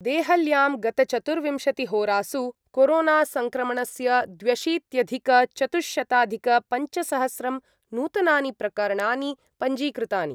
देहल्यां गतचतुर्विशतिहोरासु कोरोनासङ्क्रमणस्य द्व्यशीत्यधिकचतुश्शताधिकपञ्चसहस्रं नूतनानि प्रकरणानि पञ्जीकृतानि।